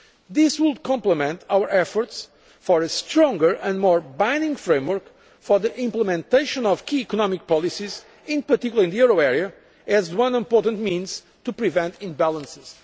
This would complement our efforts for a stronger and more binding framework for the implementation of key economic policies, in particular in the euro area, as one important means of preventing imbalances.